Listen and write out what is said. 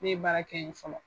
Ne ye baara kɛ yen fɔlɔ.